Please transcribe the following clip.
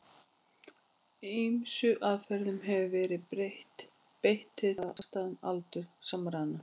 Ýmsum aðferðum hefur verið beitt til þess að ákvarða afstæðan aldur samræðnanna.